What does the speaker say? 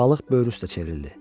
Balıq böyür üstə çevrildi.